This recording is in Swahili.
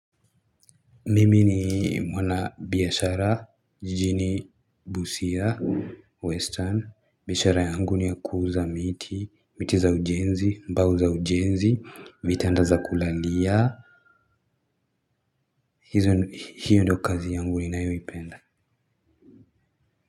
Mimi ni mwana biashara jijini busia western biashara yangu ni ya kuuuza miti miti za ujenzi mbao za ujenzi vitanda za kulalia hiyo ndio kazi yangu ninayoipenda.